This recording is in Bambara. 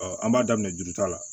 an b'a daminɛ juruta la